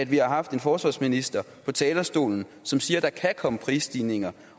vi har haft en forsvarsminister på talerstolen som siger at der kan komme prisstigninger